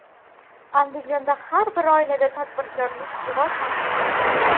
Andijonda har bir oilada tadbirkorlik rivojlanmoqda.